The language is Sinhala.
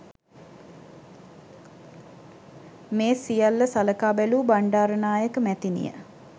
මේ සියල්ල සලකා බැලූ බණ්ඩාරනායක මැතිනිය